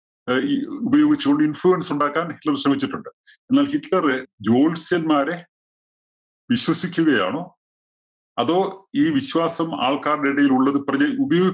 അഹ് ഇ ഉപയോഗിച്ച് കൊണ്ട് influence ഉണ്ടാക്കാന്‍ ഹിറ്റ്‌ലര്‍ ശ്രമിച്ചിട്ടുണ്ട്. എന്നാല്‍ ഹിറ്റ്‌ലറ് ജ്യോത്സ്യന്മാരെ വിശ്വസിക്കുകയാണോ, അതോ ഈ വിശ്വാസം ആള്‍ക്കാരുടെ ഇടയില്‍ ഉള്ളത് പ്രചര ഉപ~